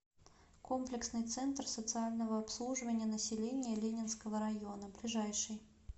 комплексный центр социального обслуживания населения ленинского района ближайший